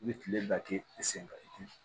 I bɛ kile bɛɛ kɛ i sen kan